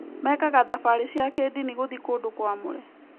Mekaga thabarĩ cia kĩĩndini gũthiĩ kũndũ kwamũre.